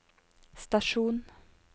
stasjon